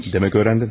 Demək öyrəndin?